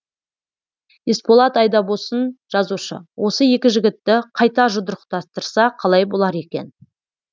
есболат айдабосын жазушы осы екі жігітті қайта жұдырықтастырса қалай болар екен